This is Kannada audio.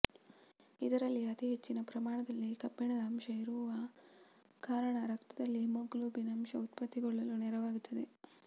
ಇದರಲ್ಲಿ ಅತಿ ಹೆಚ್ಚಿನ ಪ್ರಮಾಣದಲ್ಲಿ ಕಬ್ಬಿಣದ ಅಂಶ ಇರುವ ಕಾರಣ ರಕ್ತದಲ್ಲಿ ಹೀಮೋಗ್ಲೋಬಿನ್ ಅಂಶ ಉತ್ಪತ್ತಿಗೊಳ್ಳಲು ನೆರವಾಗುತ್ತದೆ